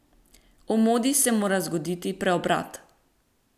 V modi se mora zgoditi preobrat!